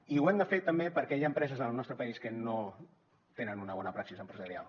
i ho hem de fer també perquè hi ha empreses en el nostre país que no tenen una bona praxi empresarial